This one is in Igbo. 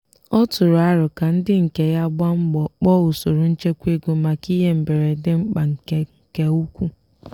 ọ tụrụ arọ ka ndị nke ya gbaa mbo kpọọ usoro nchekwa ego maka ihe mberede mkpa nke nke ukwuu.